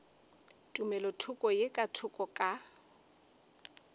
tumelothoko ye ka thoko ka